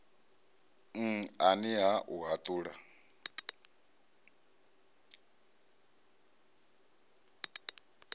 n ani ha u haṱula